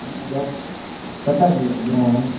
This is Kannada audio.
job set ಆಗ್ಲಿಲ್ಲ .